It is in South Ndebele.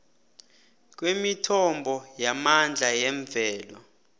kwemithombo yamandla yemvelo